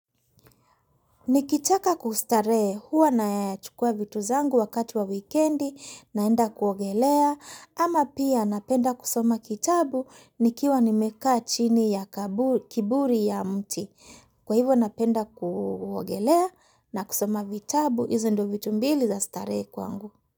Nikitaka kustarehe, huwa nayachukua vitu zangu wakati wa wikendi naenda kuogelea ama pia, napenda kusoma kitabu nikiwa nimekaa chini ya kivuli cha mti. Kwa hivyo napenda kuogelea na kusoma vitabu hizo ndo vitu mbili za starehe kwangu.